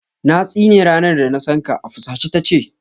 Na tsine ranar da na san ka, a fusace ta ce.